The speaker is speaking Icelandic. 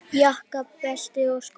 Jakka, belti og skó.